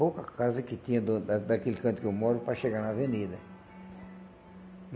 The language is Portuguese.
Pouca casa que tinha do da daquele canto que eu moro para chegar na avenida.